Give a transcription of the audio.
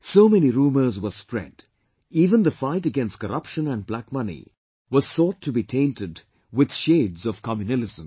So many rumours were spread, even the fight against corruption and black money was sought to be tainted with shades of communalism